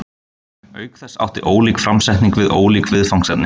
auk þess átti ólík framsetning við ólík viðfangsefni